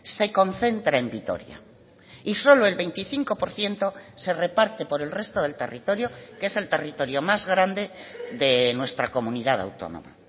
se concentra en vitoria y solo el veinticinco por ciento se reparte por el resto del territorio que es el territorio más grande de nuestra comunidad autónoma